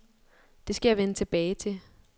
Det skal jeg vende tilbage til.